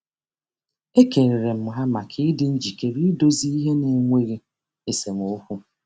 Ekelere m ha maka ịdị njikere idozi ihe n'enweghị esemokwu.